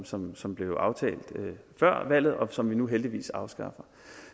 som som blev aftalt før valget og som vi nu heldigvis afskaffer